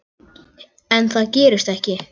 En það gerist ekki.